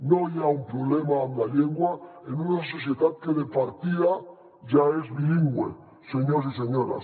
no hi ha un problema amb la llengua en una societat que de partida ja és bilingüe senyors i senyores